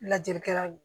Lajɛlikɛlaw